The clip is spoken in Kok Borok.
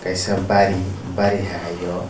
kaisa bari bari hai eio.